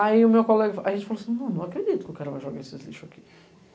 Aí o meu colega, a gente falou assim, não acredito que o cara vai jogar esses lixos aqui.